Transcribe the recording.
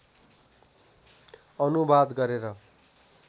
अनुवाद गरेर